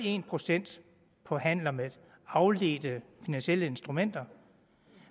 procent på handler med afledte finansielle instrumenter